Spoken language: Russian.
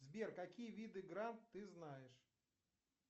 сбер какие виды гран ты знаешь